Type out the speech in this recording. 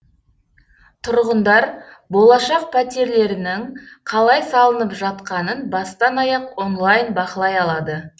тұрғындар болашақ пәтерлерінің қалай салынып жатқанын бастан аяқ онлайн бақылай алады